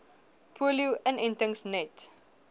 polio inentings net